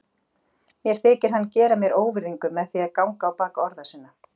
Mér þykir hann gera mér óvirðingu með því að ganga á bak orða sinna.